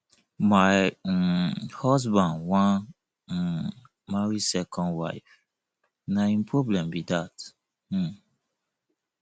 my um husband wan um marry second wife na him problem be dat um